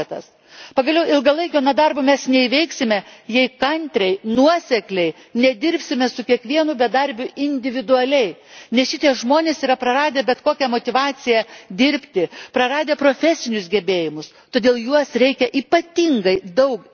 Ilgalaikio nedarbo mes neįveiksime, jei kantriai ir nuosekliai nedirbsime su kiekvienu bedarbiu individualiai, nes šie žmonės yra praradę bet kokią motyvaciją dirbti, praradę profesinius gebėjimus, todėl į juos reikia ypatingai daug investuoti.